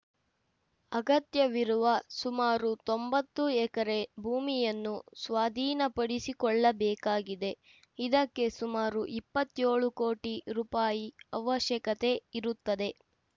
ಅಗತ್ಯವಿರುವ ಸುಮಾರು ತೊಂಬತ್ತು ಎಕರೆ ಭೂಮಿಯನ್ನು ಸ್ವಾಧೀನಪಡಿಸಿಕೊಳ್ಳಬೇಕಾಗಿದೆ ಇದಕ್ಕೆ ಸುಮಾರು ಇಪ್ಪತ್ಯೋಳು ಕೋಟಿ ರೂಪಾಯಿ ಅವಶ್ಯಕತೆ ಇರುತ್ತದೆ